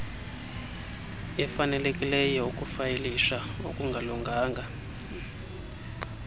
efanelekileyo ukufayilisha okungalunganga